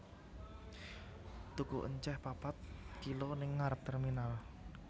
Tuku enceh papat kilo ning ngarep terminal